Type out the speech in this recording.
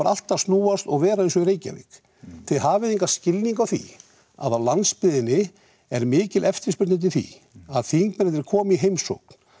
allt að snúast og vera eins og í Reykjavík þið hafið engan skilning á því að á landsbyggðinni er mikil eftirspurn eftir því að þingmennirnir komi í heimsókn